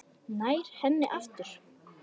Nær henni aftur.